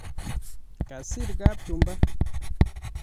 Kasir kapchumba